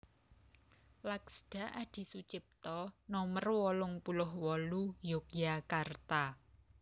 Laksda Adisutjipto Nomer wolung puluh wolu Yogyakarta